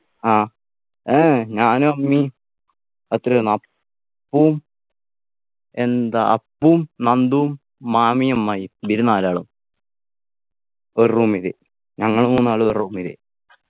ആ ഏർ ഞാനും അമ്മീ അത്രേരുന്ന് അപ്പും എന്താ അപ്പും നന്ദും മാമിയും അമ്മായിയും ഇവര് നാലാളും ഒരു Room ല് ഞങ്ങള് മൂന്നാളും ഒരു Room ല്